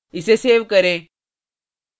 इसे सेव करें